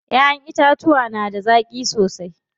Ƴaƴen itacuwa da na zaƙi sosai.